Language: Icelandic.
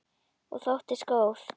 Og þóttist góð.